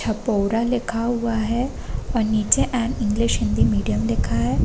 छपोरा लिखा हुआ है और नीचे एंड इंग्लिश हिंदी मीडियम लिखा है।